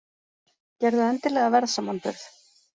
Gerðu endilega verðsamanburð!